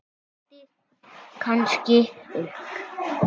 Það styttir kannski upp.